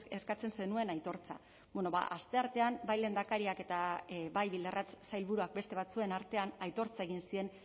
eskatzen zenuen aitortza asteartean bai lehendakariak eta bai bildarratz sailburuak beste batzuen artean aitortza egin zien